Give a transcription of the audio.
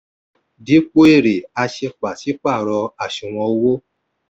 dípò èrè a ṣe pàṣípàrọ̀ àṣùwọ̀n owó.